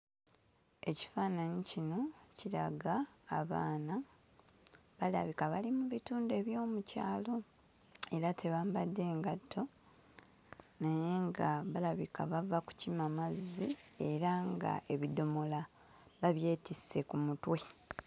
Ekifaananyi kino kiraga abaana balabika bali mu bitundu eby'omu kyalo era tebambadde ngatto naye nga balabika bava kukima mazzi era nga ebidomola babyetisse ku mutwe.